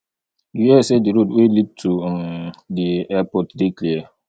you hear say di road wey lead to um di airport dey clear